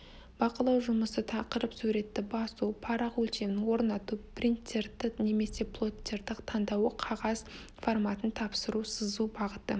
бақылау жұмысы тақырып суретті басу парақ өлшемін орнату принттерді немесе плоттер таңдауы қағаз форматын тапсыру сызу бағыты